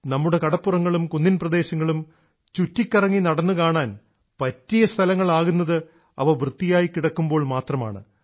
നമ്മുടെ കടപ്പുറങ്ങളും കുന്നിൻപ്രദേശങ്ങളും ചുറ്റിക്കറങ്ങി നടന്നു കാണാൻ പറ്റിയ സ്ഥലങ്ങൾ ആകുന്നത് അവ വൃത്തിയായി കിടക്കുമ്പോൾ മാത്രമാണ്